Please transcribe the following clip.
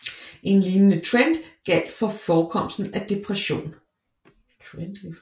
En lignende trend gjaldt for forekomsten af depression